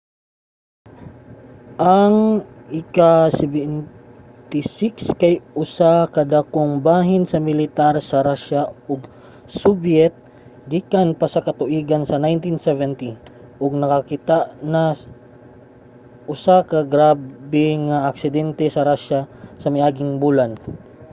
ang il-76 kay usa ka dakong bahin sa militar sa russia ug soviet gikan pa sa katuigan sa 1970 ug nakakita na usa ka grabe nga aksidente sa russia sa miaging bulan